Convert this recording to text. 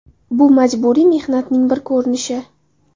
Bu majburiy mehnatning bir ko‘rinishi.